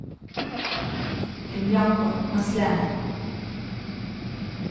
Rimljanko, na sleme.